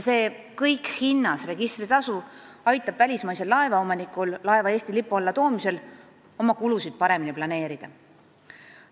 See kõik-hinnas-registritasu aitab välismaisel laevaomanikul laeva Eesti lipu alla toomisel oma kulusid paremini planeerida.